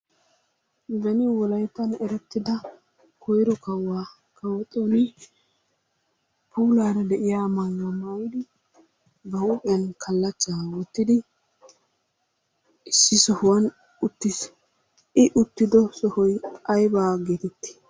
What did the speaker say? Beni wolayttan erettida koyro kawuwa kawo Xooni puulaara de'iya maayuwa maayidi, ba huuphiyan kallachchaa wottidi issi sohuwan uttiis. I uttido sohoy aybaa geetettii?